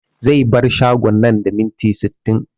Zai bar shagon nan da minti sittin